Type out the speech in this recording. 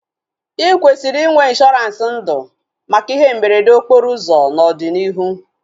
I kwesịrị inwe ịnshọransị ndụ maka ihe mberede okporo ụzọ n'ọdịnihu